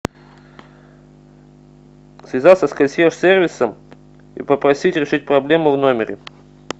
связаться с консьерж сервисом и попросить решить проблему в номере